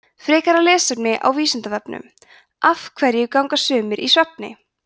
frekara lesefni á vísindavefnum af hverju ganga sumir í svefni